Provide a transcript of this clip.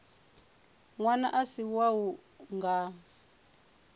ṅwana a si wau nga